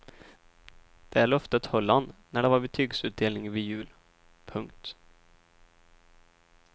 Det löftet höll han när det var betygsutdelning vid jul. punkt